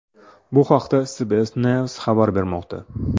Bu haqda CBS News xabar bermoqda .